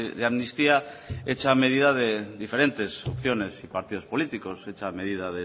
de amnistía hecha a medida de diferentes opciones y partidos políticos hecha medida